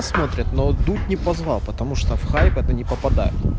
смотрит но дуть не позвал потому что в хайп не попадает